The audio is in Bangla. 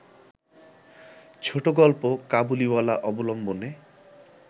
ছোটগল্প ‘কাবুলিওয়ালা’ অবলম্বনে